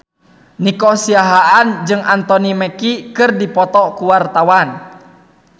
Nico Siahaan jeung Anthony Mackie keur dipoto ku wartawan